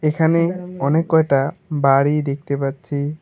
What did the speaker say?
এখানে অনেক কয়টা বাড়ি দেখতে পাচ্ছি।